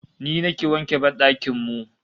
Ni nake wanke ban dakin mu